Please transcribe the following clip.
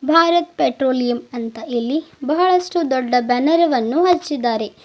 Bharat petroleum ಅಂತ ಇಲ್ಲಿ ಬಹಳಷ್ಟು ದೊಡ್ಡ ಬ್ಯಾನರ್ ವನ್ನು ಹಚ್ಚಿದ್ದಾರೆ.